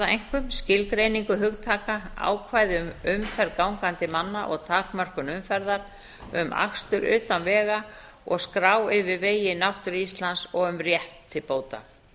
einkum skilgreiningu hugtaka ákvæði um umferð gangandi manna og takmörkun umferðar um akstur utan vega og skrá yfir vegi í náttúru íslands og um rétt til bóta